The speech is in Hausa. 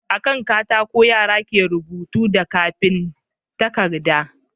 A kan katako yara ke rubuta da kafin takarda